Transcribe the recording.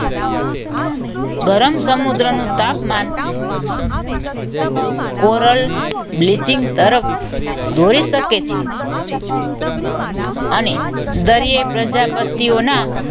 ગરમ સમુદ્રનું તાપમાન coral bleaching તરફ દોરી શકે છે. અને દરિયાઈ પ્રજાતિઓના